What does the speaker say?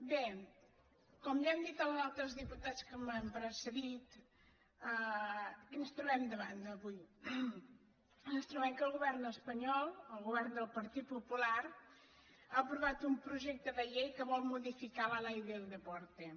bé com ja han dit els altres diputats que m’han pre·cedit què ens trobem davant avui ens trobem que el govern espanyol el govern del partit popular ha aprovat un projecte de llei que vol modificar la ley del deporte